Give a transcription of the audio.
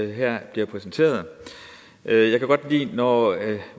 her bliver præsenteret jeg kan godt lide når